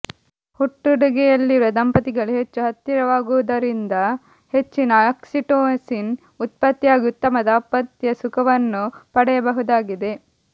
ಹುಟ್ಟುಡುಗೆಯಲ್ಲಿರುವ ದಂಪತಿಗಳು ಹೆಚ್ಚು ಹತ್ತಿರಾಗುವುದರಿಂದ ಹೆಚ್ಚಿನ ಆಕ್ಸಿಟೋಸಿನ್ ಉತ್ಪತ್ತಿಯಾಗಿ ಉತ್ತಮ ದಾಂಪತ್ಯಸುಖವನ್ನು ಪಡೆಯಬಹುದಾಗಿದೆ